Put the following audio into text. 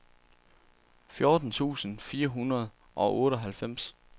fjorten tusind fire hundrede og otteoghalvfems